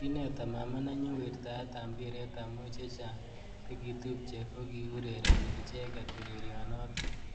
Kineta mama nenyu wirtaet ab mpiret amu chechang chekitupche kokiurereni icheket urerionotok.